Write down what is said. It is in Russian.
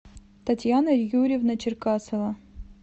татьяна юрьевна черкасова